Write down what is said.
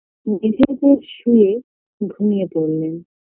মেঝের ওপর শুয়ে ঘুমিয়ে পরলেন